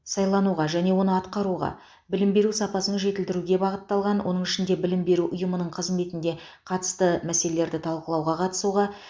сайлануға және оны атқаруға білім беру сапасын жетілдіруге бағытталған оның ішінде білім беру ұйымының қызметінде қатысты мәселелерді талқылауға қатысуға